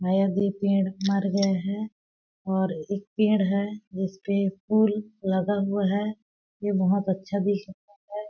शायद ये पेड़ मर गया है और एक पेड़ है उसपे फूल लगा हुआ है ये बहोत अच्छा दिख रहा हैं ।